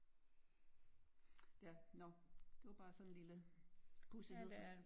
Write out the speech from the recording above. Ja når det var bare sådan en lille pudsighed